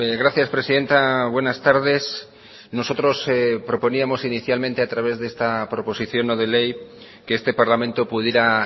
gracias presidenta buenas tardes nosotros proponíamos inicialmente a través de esta proposición no de ley que este parlamento pudiera